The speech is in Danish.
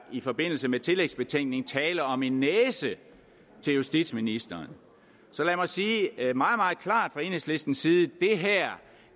i forbindelse med tillægsbetænkningen tale om en næse til justitsministeren så lad mig sige meget meget klart fra enhedslistens side at